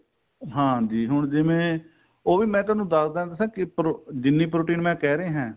ਹਾਂਜੀ ਹੁਣ ਜਿਵੇਂ ਉਹ ਵੀ ਮੈਂ ਤੁਹਾਨੂੰ ਦਸ ਦਾ ਦਸਾ ਕੀ ਜਿੰਨੀ protein ਮੈਂ ਕਹਿ ਰਿਹਾ